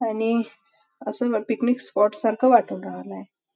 आणि असं picnic spot सारखं वाटून राहलय.